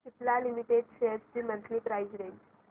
Cipla limited shares ची monthly price range